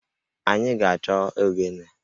Anyị ga-achọ ogene